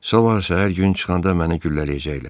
Sabah səhər gün çıxanda məni güllələyəcəklər.